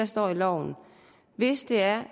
står i loven hvis det er